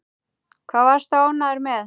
Hvað varstu ánægður með?